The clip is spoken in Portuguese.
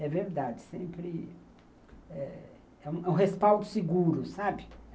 É verdade, sempre... É um respaldo seguro, sabe?